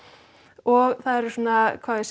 og það eru svona hvað á ég